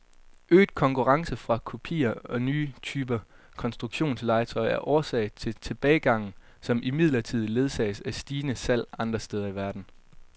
Øget konkurrence fra kopier og nye typer konstruktionslegetøj er årsag til tilbagegangen, som imidlertid ledsages af stigende salg andre steder i verden.